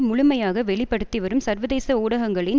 முழுமையாக வெளி படுத்தி வரும் சர்வதேச ஊடகங்களின்